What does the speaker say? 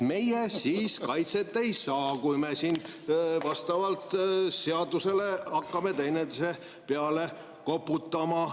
Meie siis kaitset ei saa, kui me siin vastavalt seadusele hakkame üksteise peale koputama.